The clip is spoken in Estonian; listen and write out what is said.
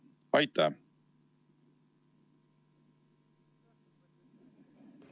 Aitäh!